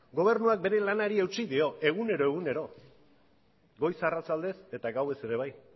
gobernuak bere lanari eutsi dio egunero egunero goiz arratsaldez eta gauez ere bai